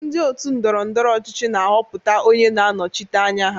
Ndị ótù ndọrọ ndọrọ ọchịchị na-ahọpụta onye na-anọchite anya ha.